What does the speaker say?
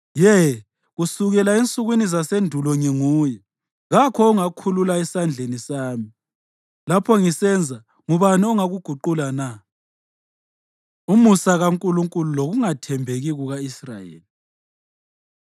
“Ye, kusukela ensukwini zasendulo nginguye. Kakho ongakhulula esandleni sami. Lapho ngisenza, ngubani ongakuguqula na?” Umusa KaNkulunkulu Lokungathembeki Kuka-Israyeli